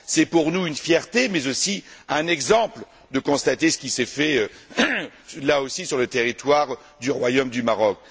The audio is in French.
C'est pour nous une fierté mais aussi un exemple de constater ce qui s'est fait, là aussi, sur le territoire du Royaume du Maroc.